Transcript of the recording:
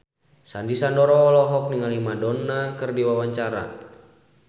Sandy Sandoro olohok ningali Madonna keur diwawancara